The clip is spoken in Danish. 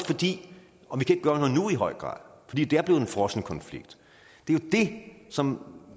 og vi kan i høj grad fordi det er blevet en frossen konflikt det er jo det som